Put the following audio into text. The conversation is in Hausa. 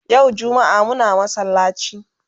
Yau jummaa Muna masallaci